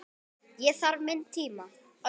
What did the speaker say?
Ég þarf minn tíma.